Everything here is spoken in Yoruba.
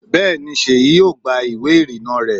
Bẹ́ẹ̀ni, Seyi yóò gba ìwé ìrìnnà rẹ̀